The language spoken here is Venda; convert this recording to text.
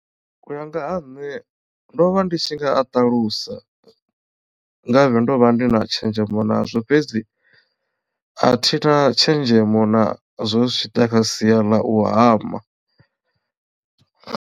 U ya nga ha nṋe ndo vha ndi tshi nga a ṱalusa ngavhe ndo vha ndi na tshenzhemo nazwo fhedzi a thina tshenzhemo na zwo zwi tshi ḓa kha sia ḽa u hama.